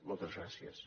moltes gràcies